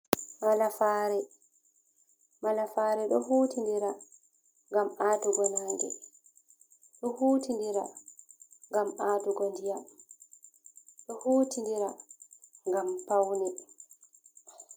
Malafere. Malafare ɗoo hutindira ngam atugo nange, ɗoo hutidira ngam atugo ndiya, ɗoo hutindira ngam pauni.